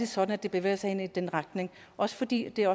sådan at det bevæger sig i den retning også fordi det er